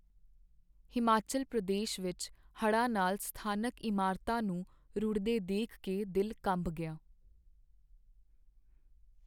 ਹਿਮਾਚਲ ਪ੍ਰਦੇਸ਼ ਵਿੱਚ ਹੜ੍ਹਾਂ ਨਾਲ ਸਥਾਨਕ ਇਮਾਰਤਾਂ ਨੂੰ ਰੁੜ੍ਹਦੇ ਦੇਖ ਕੇ ਦਿਲ ਕੰਬ ਗਿਆ।